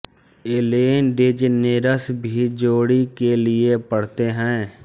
Allen DeGeneres भी जोडि के लिए पढ़ते हैं